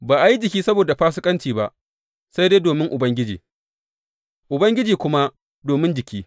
Ba a yi jiki saboda fasikanci ba, sai dai domin Ubangiji, Ubangiji kuma domin jiki.